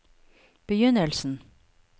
begynnelsen